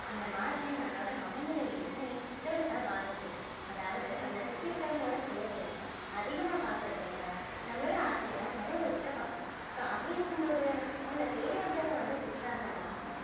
அந்த மாற்றம் நம்மளோட மன நிலையையுமே பெருசா பாதிச்சிருக்கு அதாவது நம்மள சுத்தி இருக்கிறவங்களோட தேவைய அதிகமா பார்க்கிறதை விட நம்மளோட ஆசைய தான் நிறைவேத்திக்க பார்க்கிறோம் so அப்படி இருக்கும் போது உங்கள தேடி ஒருத்தவங்க வந்து திட்டுறாங்கன்னா